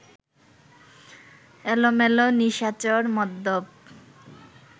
এলোমেলো, নিশাচর, মদ্যপ